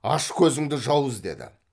аш көзіңді жауыз деді